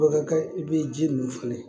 Bakarika i be ji min fɛnɛ